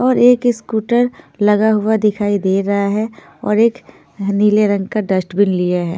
और एक स्कूटर लगा हुआ दिखाई दे रहा है और एक यहाँ नीले रंग का डस्ट्बिन लिए हुए है।